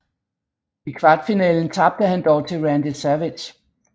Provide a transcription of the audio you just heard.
I kvartfinalen tabte han dog til Randy Savage